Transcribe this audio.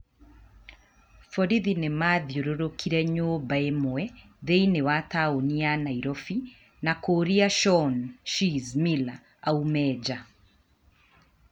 Borithi nĩ maathiũrũrũkĩirie nyũmba ĩmwe thĩinĩ wa tauni ya Nairobi na kuuria Shaun "Shizz" Miller aume nja.